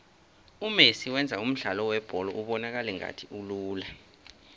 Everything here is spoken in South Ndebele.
umesi wenza umdlalo webholo ubonakale ngathi ulula